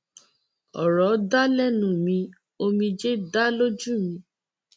ọrọ dà lẹnu mi omijé dà lójú mi